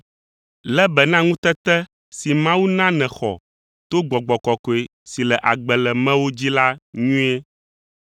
Lé be na ŋutete si Mawu na nèxɔ to Gbɔgbɔ Kɔkɔe si le agbe le mewò dzi la nyuie.